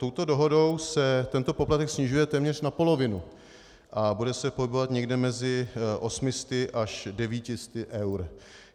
Touto dohodou se tento poplatek snižuje téměř na polovinu a bude se pohybovat někde mezi 800 až 900 eur.